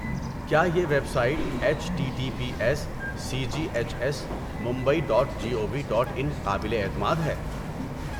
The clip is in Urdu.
کیا یہ website H T T P S C G H S Mumbai dot G O V dot in قابل اعتماد ہے؟